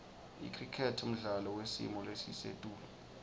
icricket mdlalo wesimolesisetulu